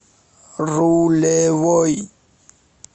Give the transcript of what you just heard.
рулевой